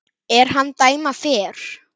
er hann dæma fer